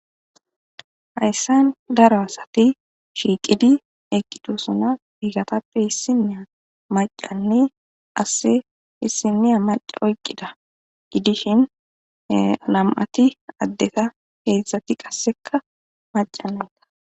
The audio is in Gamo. hayssan daro asati shiiqidi eqidosona hiigatappe hissinniya macanne asse hissiniya maci oyqqida gidishin lam7ati addeta heedzdzati qasseka macanenta